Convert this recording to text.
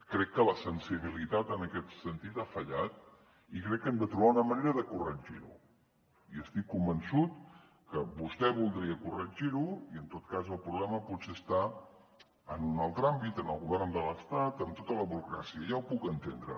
crec que la sensibilitat en aquest sentit ha fallat i crec que hem de trobar una manera de corregir ho i estic convençut que vostè voldria corregir ho i en tot cas el problema potser està en un altre àmbit en el govern de l’estat amb tota la burocràcia ja ho puc entendre